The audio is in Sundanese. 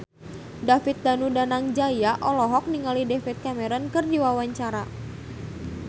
David Danu Danangjaya olohok ningali David Cameron keur diwawancara